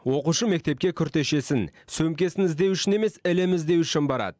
оқушы мектепке күртешесін сөмкесін іздеу үшін емес ілім іздеу үшін барады